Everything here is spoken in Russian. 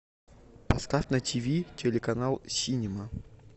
поставь на тв телеканал синема